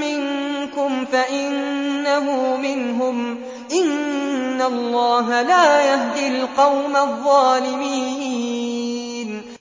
مِّنكُمْ فَإِنَّهُ مِنْهُمْ ۗ إِنَّ اللَّهَ لَا يَهْدِي الْقَوْمَ الظَّالِمِينَ